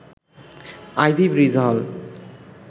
ivy Bridge হল